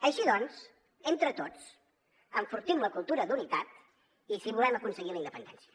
així doncs entre tots enfortim la cultura d’unitat si volem aconseguir la independència